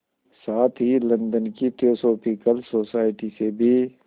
साथ ही लंदन की थियोसॉफिकल सोसाइटी से भी